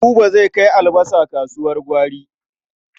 Buba zai kai albasa kasuwar gwari.